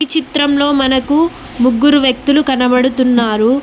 చిత్రంలో మనకు ముగ్గురు వ్యక్తులు కనబడుతున్నారు.